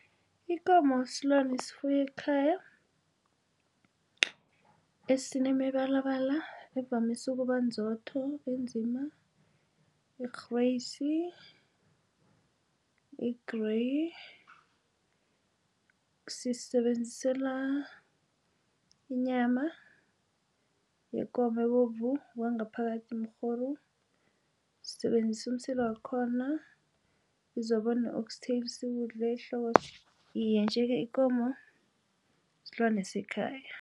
Ikomo silwane esifuywa ekhaya. Esinemibalabala evamise ukuba nzotho, enzima, erheriyisi, e-gray sisisebenzisela inyama yekomo ebovu, kwangaphakathi umrhoru. Sisebenzisa umsila wakhona kuzoba ne-oxtail sikudle ihloko. Iye njeke ikomo silwane sekhaya.